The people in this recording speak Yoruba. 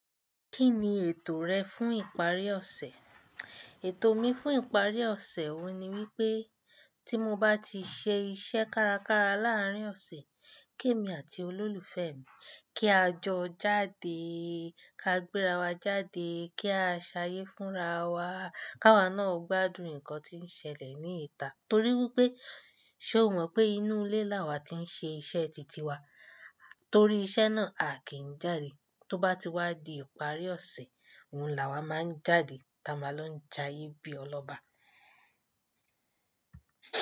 Kí ni ètò rẹ fún ìparí ọ̀sẹ̀? Ètò mi fún ìparí ọ̀sẹ̀ òun ni wípé tí mo bá ti ṣe iṣẹ́ kárakára láàrín ọ̀sẹ̀, kí èmi àti olólùfẹ́ mi kí á jọ jáde, ká gbérawa jáde, kí a ṣayé fún rawa, ká wa náà gbádùn ǹkan tí ń ṣẹlẹ̀ ní ìta. Torí wípé ṣe o mọ̀ pé inú ilé la wà ti ń ṣe iṣẹ́ titi wa, torí iṣẹ́ náà aa kì í n jáde. Tó bá ti wá di ìparí ọ̀sẹ̀, òun là wà máa ń jáde, táa ma lọ ja ibi ọlọ́ba.